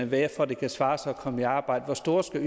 være for at det kan svare sig at komme i arbejde og hvor store